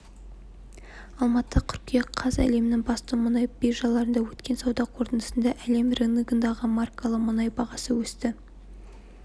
алматы қыркүйек қаз әлемнің басты мұнай биржаларында өткен сауда қортындысында әлем рыногындағы маркалы мұнай бағасы өсті